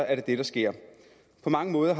er det det der sker på mange måder